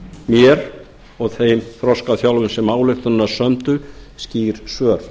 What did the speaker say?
gefi mér og þeim þroskaþjálfum sem ályktunina sömdu skýr svör